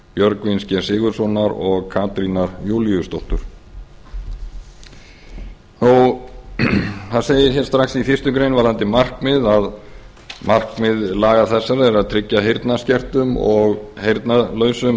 björgvins g sigurðssonar og katrínar júlíusdóttur það segir hér strax í fyrstu grein varðandi markmið að markmið laga þessara er að tryggja heyrnarskertum og heyrnarlausum